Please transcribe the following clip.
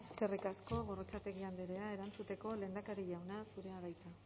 eskerrik asko gorrotxategi andrea erantzuteko lehendakari jauna zurea da hitza